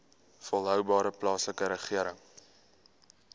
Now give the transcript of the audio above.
volhoubare plaaslike regering